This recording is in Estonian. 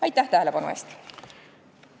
Aitäh tähelepanu eest!